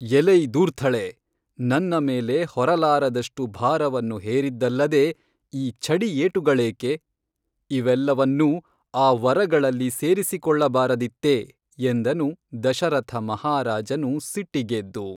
ಎಲೈ ಧೂರ್ತಳೇ, ನನ್ನ ಮೇಲೆ ಹೊರಲಾರದಷ್ಟು ಭಾರವನ್ನು ಹೇರಿದ್ದಲ್ಲದೆ ಈ ಛಡೀ ಏಟುಗಳೇಕೆ, ಇವೆಲ್ಲವನ್ನೂ ಆ ವರಗಳಲ್ಲಿ ಸೇರಿಸಿಕೊಳ್ಳಬಾರದಿತ್ತೇ ಎಂದನು ದಶರಥ ಮಾಹಾರಾಜನು ಸಿಟ್ಟಿಗೆದ್ದು